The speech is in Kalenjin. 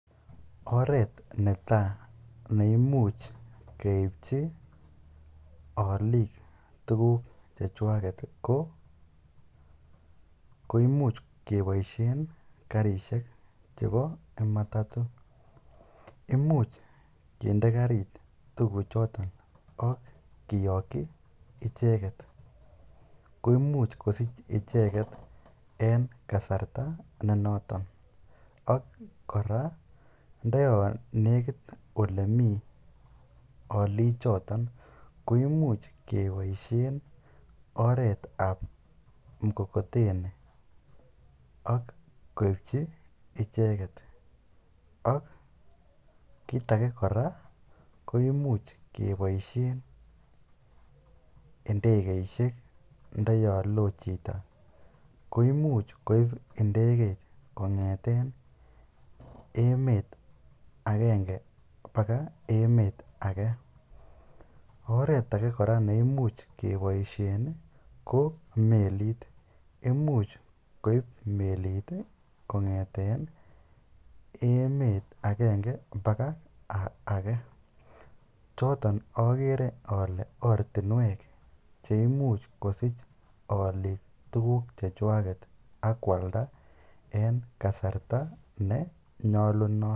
oreet netaa neimuch keibchi oliik tukuk chechwaket ko koimuch keboishen karishek chebo matato, imuch kinde karit tukuchoton ak kiyokyi icheket koimuch kosich icheket en kasarta nenoton ak kora ndo yoon nekit olemii olichoton koimuch keboishen oreetab mokokoteni ak keibchi icheket ak kiit akee keboishen ndekeishek ndo yoon loo chito koimuch koib ndekeit kongeten emet akenge bakaa emet akee, oreet kora neimuch keboishen ko melit, imuch koib melit kongeten emet akenge bakaa akee, choton okere olee ortinwek cheimuch kosich olik tukuk chechwak akwalda en kasarta nenyolunot.